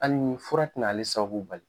Hali ni fura te na ale sababu bali